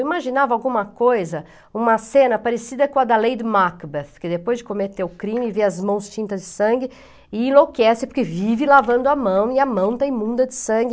Eu imaginava alguma coisa, uma cena parecida com a da Lady Macbeth, que depois de cometer o crime vê as mãos tintas de sangue e enlouquece porque vive lavando a mão e a mão está imunda de sangue.